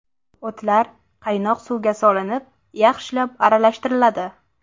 O‘tlar qaynoq suvga solinib, yaxshilab aralashtiriladi.